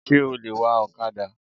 Sé o lè wa òkadà